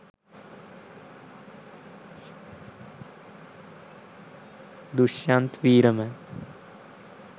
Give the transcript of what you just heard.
dushyanth weeraman